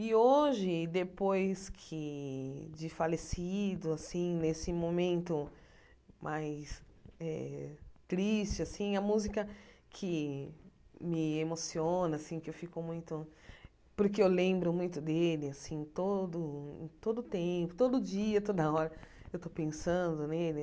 E hoje, depois que de falecido assim, nesse momento mais eh triste assim, a música que me emociona que eu fico muito, porque eu lembro muito dele, todo todo tempo, todo dia, toda hora, eu estou pensando nele.